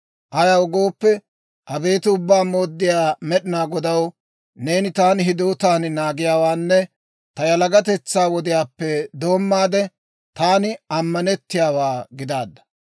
Ayaw gooppe, abeet Ubbaa Mooddiyaa Med'inaa Godaw, neeni taani hidootan naagiyaawaanne ta yalagatetsaa wodiyaappe doommaade, taani ammanettiyaawaa gidaadda.